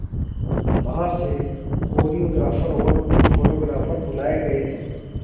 बाहर से कोरियोग्राफर और फोटोग्राफर बुलाए गए थे